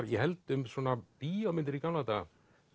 ég held um bíómyndir í gamla daga